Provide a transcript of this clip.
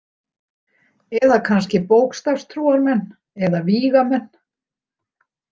Eða kannski bókstafstrúarmenn eða vígamenn.